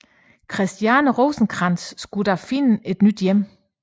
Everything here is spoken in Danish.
Christiane Rosenkrantz skulle da finde et nyt hjem